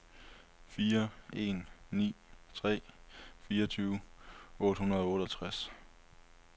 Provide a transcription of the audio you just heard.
fire en ni tre fireogtyve otte hundrede og otteogtres